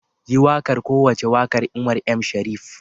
Yi wakar kowace wakar Umar M. shareef.